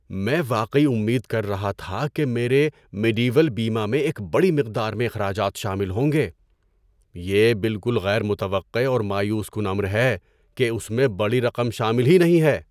میں واقعی امید کر رہا تھا کہ میرے میڈی ویل بیمہ میں ایک بڑی مقدار میں اخراجات شامل ہوں گے۔ یہ بالکل غیر متوقع اور مایوس کن امر ہے کہ اس میں بڑی رقم شامل ہی نہیں ہے۔